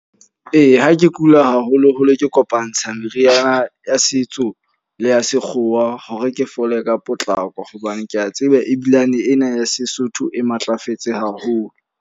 Ee, ha ke kula haholo-holo ke kopantsha meriana ya setso le ya sekgowa, hore ke fole ka potlako. Hobane ke a tseba ebilane ena ya Sesotho e matlafetse haholo.